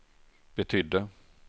betydde